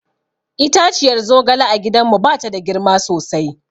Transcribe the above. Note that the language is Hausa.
Itaciyar zogale a gidanmu ba ta da girma sosai.